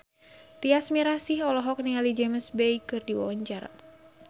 Tyas Mirasih olohok ningali James Bay keur diwawancara